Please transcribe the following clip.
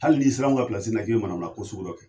Hali ni sir'anw ka pilasi la k'i be manamana ko sugu dɔ kɛ